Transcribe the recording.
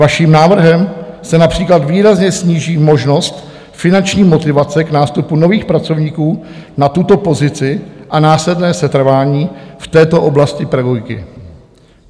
Vaším návrhem se například výrazně sníží možnost finanční motivace k nástupu nových pracovníků na tuto pozici a následné setrvání v této oblasti pedagogiky.